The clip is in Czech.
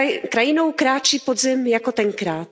Krajinou kráčí podzim jako tenkrát.